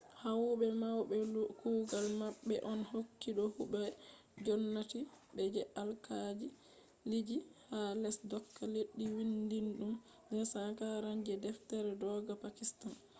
howube mai kugal mabbe on hokkugo huwobe gomnati be je alkaaliji ha les dooka leddi vindidum 247 je deftere dooka pakitan